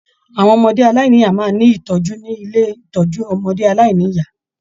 Àwọn ọmọdé aláìníya máa n ní itọju nílé ìtọjú ọmọdé aláìníya.